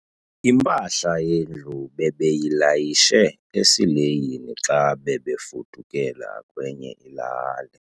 Impahla yendlu bebeyilayishe esileyini xa bebefudukela kwenye ilali.